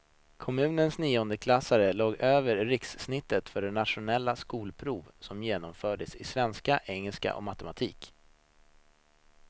Kommunens niondeklassare låg över rikssnittet för det nationella skolprov som genomfördes i svenska, engelska och matematik.